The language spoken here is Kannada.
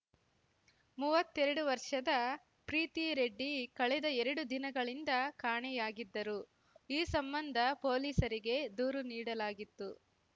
ಮುವ್ವತ್ತೆರಡು ವರ್ಷದ ಪ್ರೀತಿ ರೆಡ್ಡಿ ಕಳೆದ ಎರಡು ದಿನಗಳಿಂದ ಕಾಣೆಯಾಗಿದ್ದರು ಈ ಸಂಬಂಧ ಪೊಲೀಸರಿಗೆ ದೂರು ನೀಡಲಾಗಿತ್ತು